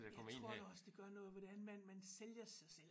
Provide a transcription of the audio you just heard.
Jeg tror da også det gør noget hvordan man man sælger sig selv